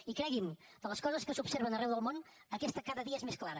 i cregui’m de les coses que s’observen arreu del món aquesta cada dia és més clara